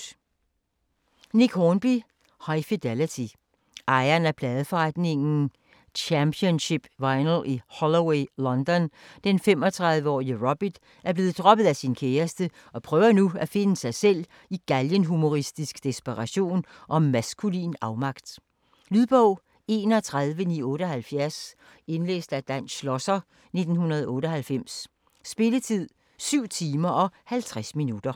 Hornby, Nick: High fidelity Ejeren af pladeforretningen Championship Vinyl i Holloway, London, den 35-årige Robert, er blevet droppet af sin kæreste og prøver nu at finde sig selv i galgenhumoristisk desperation og maskulin afmagt. Lydbog 31978 Indlæst af Dan Schlosser, 1998. Spilletid: 7 timer, 50 minutter.